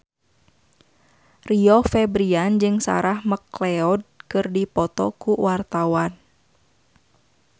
Rio Febrian jeung Sarah McLeod keur dipoto ku wartawan